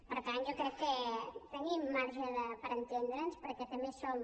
per tant jo crec que tenim marge per entendre’ns perquè també som